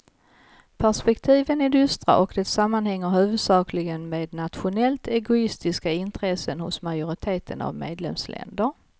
Perspektiven är dystra och det sammanhänger huvudsakligen med nationellt egoistiska intressen hos majoriteten av medlemsländer.